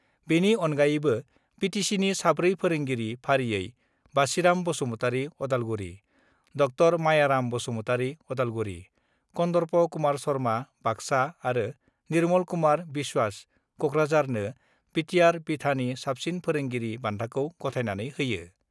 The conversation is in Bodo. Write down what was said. बेनि अनगायैबो बिटिसिनि साब्रै फोरोंगिरि फारियै-बासिराम बसुमतारि (उदालगुरि), ड' मायाराम बसुमतारि ( उदालगुरि), कन्दर्प कुमार शर्मा ( बाक्सा आरो निर्मल कुमार बिस्वाश ( कक्राझार ) नो बिटिआर बिथानि साबसिन फोरोंगिरिनि बान्थाखौ गथायनानै होयो।